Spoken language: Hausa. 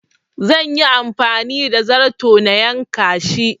Zan yi amfani da zarto na yanka shi